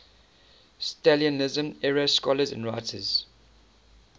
stalinism era scholars and writers